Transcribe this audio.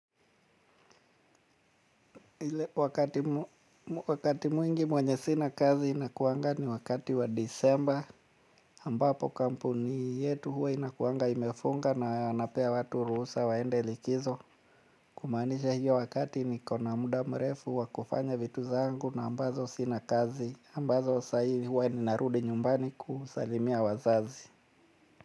Wakati mwingi mwenye sina kazi inakuanga ni wakati wa disemba ambapo kampuni yetu huwa inakuanga imefunga na wanapea watu ruhusa waende likizo. Kumaanisha hiyo wakati niko na muda mrefu wa kufanya vitu zangu ambazo sina kazi ambazo saa hii huwa ninarudi nyumbani kusalimia wazazi.